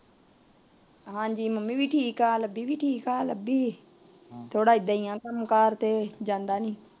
ਹਾਂਜੀ ਮਾਂ ਵੀ ਠੀਕ ਏ ਲੱਭੀ ਵੀ ਠੀਕ ਐ ਲੱਭੀ ਥੋੜਾ ਐਦਾਂ ਈ ਆ ਕੱਮਕਾਰ ਤੇ ਜਾਂਦਾ ਨੀ